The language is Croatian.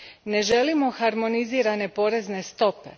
Ne želimo harmonizirane porezne stope.